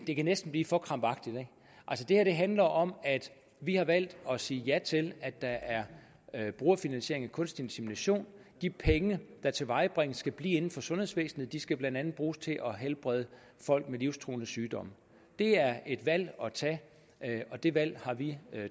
det kan næsten blive for krampagtigt det her handler om at vi har valgt at sige ja til at der er brugerfinansiering ved kunstig insemination de penge der tilvejebringes skal blive inden for sundhedsvæsenet de skal blandt andet bruges til at helbrede folk med livstruende sygdomme det er et valg at tage og det valg har vi